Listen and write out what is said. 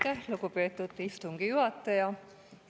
Aitäh, lugupeetud istungi juhataja!